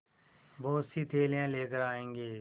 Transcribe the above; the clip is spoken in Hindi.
बहुतसी थैलियाँ लेकर आएँगे